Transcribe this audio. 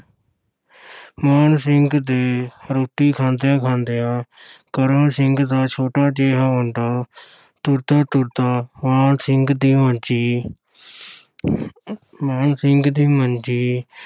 ਮਾਨ ਸਿੰਘ ਦੇ ਰੋਟੀ ਖਾਂਦਿਆਂ ਖਾਂਦਿਆਂ ਕਰਮ ਸਿੰਘ ਦਾ ਛੋਟਾ ਜਿਹਾ ਮੁੰਡਾ ਤੁਰਦਾ-ਤੁਰਦਾ ਮਾਨ ਸਿੰਘ ਦੀ ਮੰਜੀ ਮਾਨ ਸਿੰਘ ਦੀ ਮੰਜੀ